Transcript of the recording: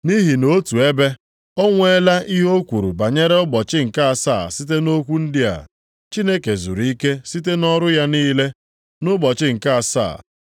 Nʼihi nʼotu ebe, o nweela ihe o kwuru banyere ụbọchị nke asaa site nʼokwu ndị a: “Chineke zuru ike site nʼọrụ ya niile, nʼụbọchị nke asaa.” + 4:4 \+xt Jen 2:2\+xt*